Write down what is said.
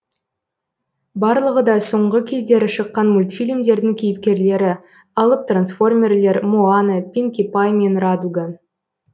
барлығы да соңғы кездері шыққан мультфильмдердің кейіпкерлері алып трансформерлер моана пинки пай мен радуга